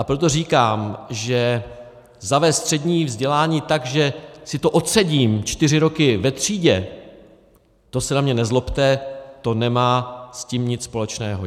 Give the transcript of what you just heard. A proto říkám, že zavést střední vzdělání tak, že si to odsedím čtyři roky ve třídě, to se na mě nezlobte, to nemá s tím nic společného.